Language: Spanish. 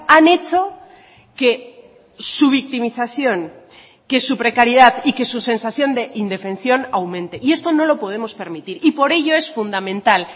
han hecho que su victimización que su precariedad y que su sensación de indefensión aumente y esto no lo podemos permitir y por ello es fundamental